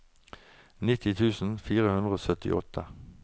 nitti tusen fire hundre og syttiåtte